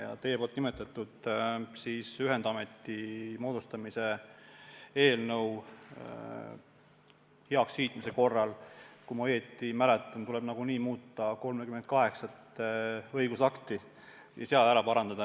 Ja teie nimetatud ühendameti moodustamise eelnõu heakskiitmise korral, kui ma õigesti mäletan, tuleb tõesti muuta 38 õigusakti.